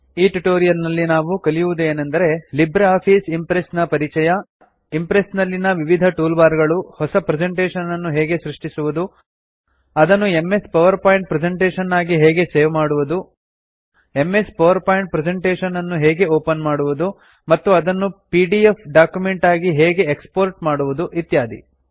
ಈ ಟ್ಯುಟೋರಿಯಲ್ ನಲ್ಲಿ ನಾವು ಕಲಿಯುವುದು ಏನೆಂದರೆ ಲಿಬ್ರೆ ಆಫೀಸ್ ಇಂಪ್ರೆಸ್ಸ್ ನ ಪರಿಚಯ ಇಂಪ್ರೆಸ್ಸ್ ನಲ್ಲಿನ ವಿವಿಧ ಟೂಲ್ ಬಾರ್ ಗಳು ಹೊಸ ಪ್ರೆಸೆಂಟೇಷನ್ ಅನ್ನು ಹೇಗೆ ಸೃಷ್ಟಿಸುವುದು ಅದನ್ನು ಎಂಎಸ್ ಪವರ್ ಪಾಯಿಂಟ್ ಪ್ರೆಸೆಂಟೇಷನ್ ಆಗಿ ಹೇಗೆ ಸೇವ್ ಮಾಡುವುದು ಎಂಎಸ್ ಪವರ್ ಪಾಯಿಂಟ್ ಪ್ರೆಸೆಂಟೇಷನ್ ಅನ್ನು ಹೇಗೆ ಓಪನ್ ಮಾಡುವುದು ಮತ್ತು ಅದನ್ನು ಪಿಡಿಎಫ್ ಡಾಕ್ಯುಮೆಂಟ್ ಆಗಿ ಹೇಗೆ ಎಕ್ಸ್ ಪೋರ್ಟ್ ಮಾಡುವುದು ಇತ್ಯಾದಿ